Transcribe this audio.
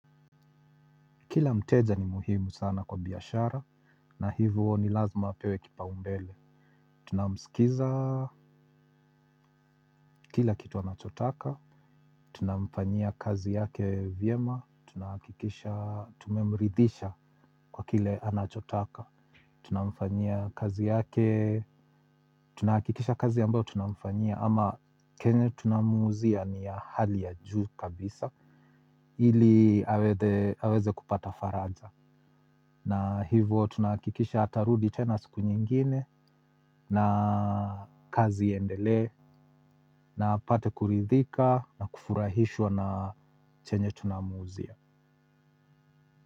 Kila mteja ni muhimu sana kwa biashara na hivo huwa ni lazima apewe kipaumbele. Tunamsikiza, kila kitu anachotaka, tunamfanyia kazi yake vyema, tunahakikisha tumemridhisha kwa kile anachotaka. Tunamfanyia kazi yake, tunahakikisha kazi ambayo tunamfanyia ama chenye tunamuuzia ni ya hali ya juu kabisa, ili aweze kupata faraja. Na hivyo tunahakikisha atarudi tena siku nyingine na kazi iendelee na apate kuridhika na kufurahishwa na chenye tunamuuzia.